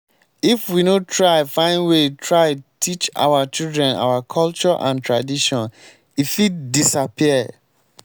if we no find way try teach our children our culture and tradition e fit disappear.